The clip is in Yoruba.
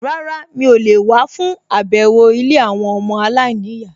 Rárá, mi ò lè wá fún àbẹ̀wò ilé àwọn ọmọ aláìníyàá